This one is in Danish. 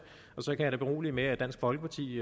og så kan jeg da berolige med at dansk folkeparti i